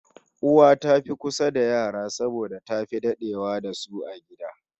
Uwa ta fi kusa da yara saboda tafi dadewa da su a gida